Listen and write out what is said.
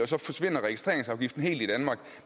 så forsvinder registreringsafgiften helt i danmark